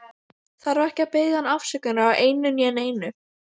Þarf ekki að biðja hann afsökunar á einu né neinu.